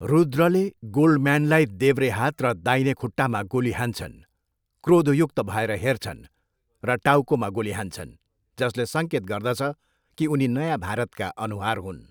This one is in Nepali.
रुद्रले गोल्डम्यानलाई देब्रे हात र दाहिने खुट्टामा गोली हान्छन्, क्रोधयुक्त भएर हेर्छन् र टाउकोमा गोली हान्छन्, जसले सङ्केत गर्दछ कि उनी नयाँ भारतका अनुहार हुन्।